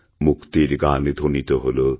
মুক্তির গান ধ্বনিত হল